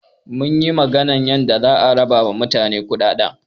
Munyi magana yanda za a raba ma mutane kuɗaɗɗen.